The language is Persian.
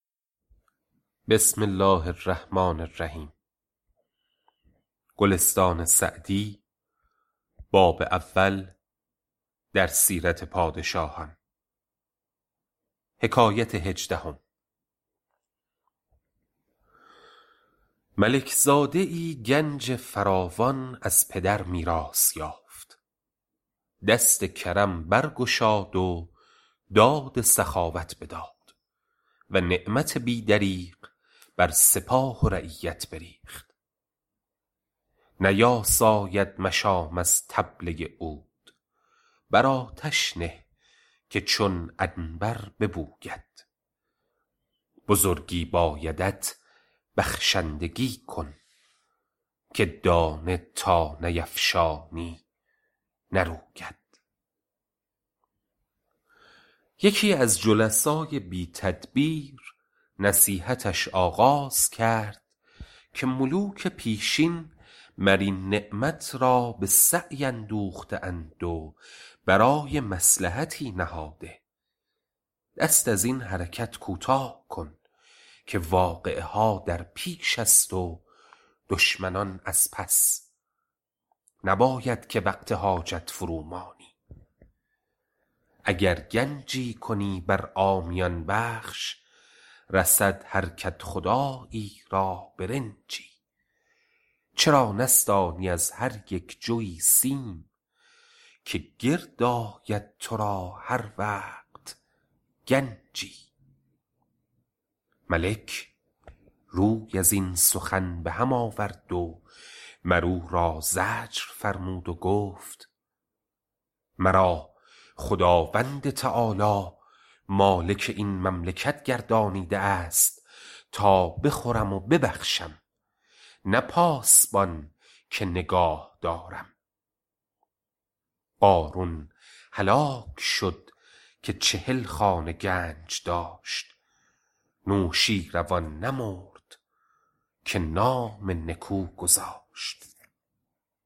ملک زاده ای گنج فراوان از پدر میراث یافت دست کرم برگشاد و داد سخاوت بداد و نعمت بی دریغ بر سپاه و رعیت بریخت نیاساید مشام از طبله عود بر آتش نه که چون عنبر ببوید بزرگی بایدت بخشندگی کن که دانه تا نیفشانی نروید یکی از جلسای بی تدبیر نصیحتش آغاز کرد که ملوک پیشین مر این نعمت را به سعی اندوخته اند و برای مصلحتی نهاده دست از این حرکت کوتاه کن که واقعه ها در پیش است و دشمنان از پس نباید که وقت حاجت فرو مانی اگر گنجی کنی بر عامیان بخش رسد هر کدخدایی را برنجی چرا نستانی از هر یک جوی سیم که گرد آید تو را هر وقت گنجی ملک روی از این سخن به هم آورد و مر او را زجر فرمود و گفت مرا خداوند تعالیٰ مالک این مملکت گردانیده است تا بخورم و ببخشم نه پاسبان که نگاه دارم قارون هلاک شد که چهل خانه گنج داشت نوشین روان نمرد که نام نکو گذاشت